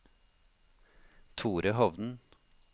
Thore Hovden